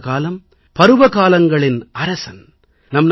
வசந்தகாலம் பருவகாலங்களின் அரசன்